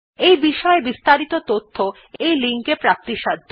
এই বিষয় বিস্তারিত তথ্য এই লিঙ্ক এ প্রাপ্তিসাধ্য